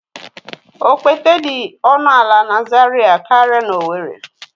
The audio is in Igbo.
Okpete dị ọnụ ala na Zaria karịa n'owerri